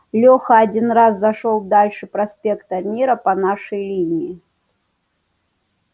леха один раз зашёл дальше проспекта мира по нашей линии